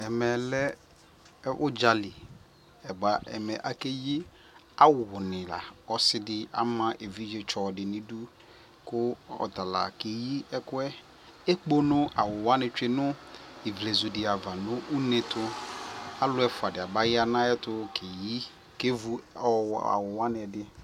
ɛmɛ lɛ ʋdza li, bʋa ɛmɛ akɛyi awʋ ni la kʋ ɔsiidi ama ɛvidzɛ tsɔ di nʋ idʋ kʋ ɔtala kɛyi ɛkʋɛ, ɛkpɔnɔ awʋ wani twɛ nʋ ivlɛzʋ di aɣa nʋ ʋnɛ tʋ, alʋ ɛƒʋa di abaya nʋ ayɛtʋ kɛyi kɛ ɛvʋ awʋ wani ɛdi